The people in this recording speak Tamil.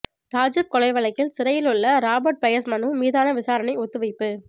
ராஜூவ் கொலை வழக்கில் சிறையில் உள்ள ராபர்ட் பயஸ் மனு மீதான விசாரணை ஒத்திவைப்பு